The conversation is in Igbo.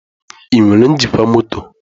Ị nwere njikwa mọtọ?